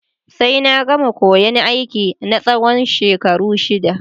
Sai na gama koyan aiki na tsawon shekaru shida